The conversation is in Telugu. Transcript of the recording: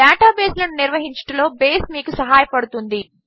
డేటాబేసులను నిర్వహించుటలో బేస్ మీకు సహాయపడుతుంది